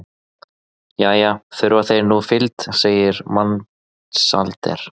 Jæja, þurfa þeir nú fylgd, segir Mensalder.